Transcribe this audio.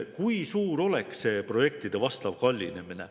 Kui suur oleks see projektide kallinemine?